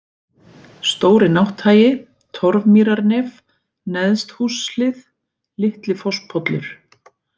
Stóri-Nátthagi, Torfmýrarnef, Neðsthússhlið, Litli-Fosspollur